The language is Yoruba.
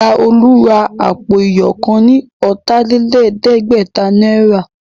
Ìya olú ra àpò iyọ̀ kan ní ọ̀tà-lé-lẹ̀ẹ́dẹ́gbẹ̀ta náírà